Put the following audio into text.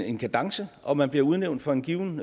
en kadence og man bliver udnævnt for en given